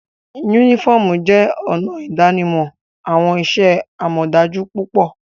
Unifọmú jẹ ọna idanimọ awọn iṣẹ-amọdaju pupọ.